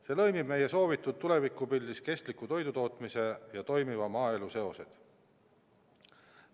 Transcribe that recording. " See lõimib meie soovitud tulevikupildis kestliku toidutootmise ja toimiva maaelu seosed.